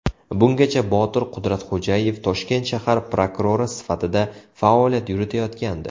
Bungacha Botir Qudratxo‘jayev Toshkent shahar prokurori sifatida faoliyat yuritayotgandi.